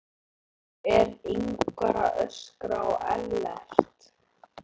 Af hverju er Ingvar að öskra á Ellert?